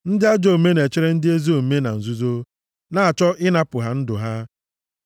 Ndị ajọ omume na-echere ndị ezi omume na nzuzo, na-achọ ịnapụ ha ndụ ha;